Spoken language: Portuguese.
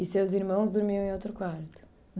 E seus irmãos dormiam em outro quarto?